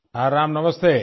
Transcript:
हाँ राम नमस्ते